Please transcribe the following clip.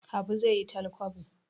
Habu zai yi talkwabo